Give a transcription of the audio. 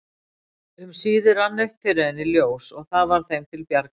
Um síðir rann upp fyrir henni ljós og það varð þeim til bjargar.